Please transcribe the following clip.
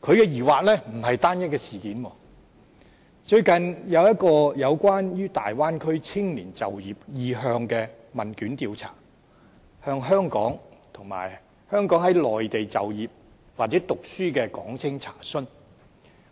他的疑惑並不是單一的事件，最近有一個關於大灣區青年就業意向的問卷調查，向香港和香港在內地就業或讀書的港青查詢，